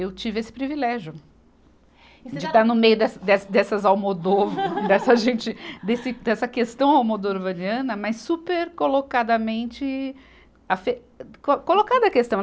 Eu tive esse privilégio de estar no meio dessa, dessa, dessas Almodóvar, dessa gente, desse, dessa questão almodorvariana, mas super colocadamente afe, co colocada a questão.